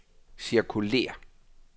cirkulér